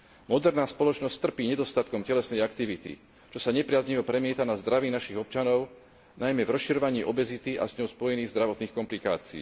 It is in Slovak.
Moderná spoločnosť trpí nedostatkom telesnej aktivity, čo sa nepriaznivo premieta na zdraví našich občanov, najmä v rozširovaní obezity a s ňou spojených zdravotných komplikácií.